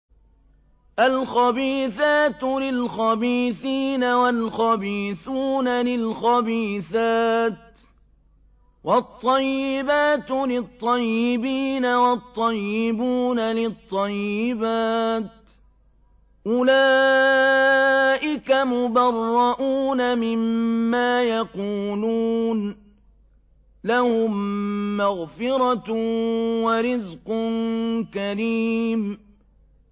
الْخَبِيثَاتُ لِلْخَبِيثِينَ وَالْخَبِيثُونَ لِلْخَبِيثَاتِ ۖ وَالطَّيِّبَاتُ لِلطَّيِّبِينَ وَالطَّيِّبُونَ لِلطَّيِّبَاتِ ۚ أُولَٰئِكَ مُبَرَّءُونَ مِمَّا يَقُولُونَ ۖ لَهُم مَّغْفِرَةٌ وَرِزْقٌ كَرِيمٌ